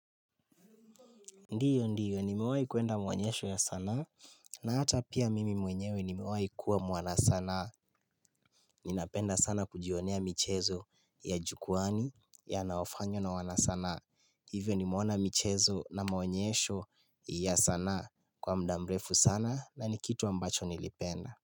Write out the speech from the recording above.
Ndio ndio nimewahi kuenda mwonyesho ya sanaa na hata pia mimi mwenyewe nimewahi kuwa mwanasanaa Ninapenda sana kujionea michezo ya jukwani yanaofanywa na wanasanaa Hivyo nimeona michezo na maonyesho ya sanaa kwa mda mrefu sana na ni kitu ambacho nilipenda.